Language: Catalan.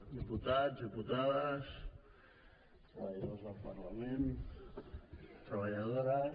diputats diputades treballadors del parlament treballadores